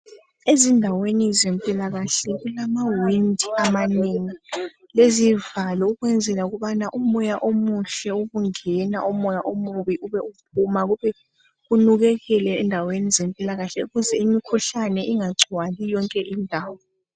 ezindweni zempila kahle kula windi amanengi lezivalo ukuze umoya omuhle ubungena, umoye omubi ubuphuma ukuze kunukelele endaweni zempilakahle ukuze imikhuhlane ingagcwali yonke indawo.